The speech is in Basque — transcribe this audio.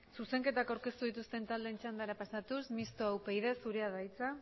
zuzenketak aurkeztu dituzten taldeen txandara pasatuz mistoa upyd zurea da hitza